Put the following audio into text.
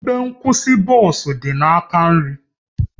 Ebe nkwụsị bọs dị n'aka nri gị